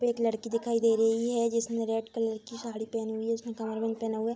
पे एक लड़की दिखाई दे रही है जिसने रेड कलर की साड़ी पहनी हुईं है उसने कमरबंध पहना हुआ है।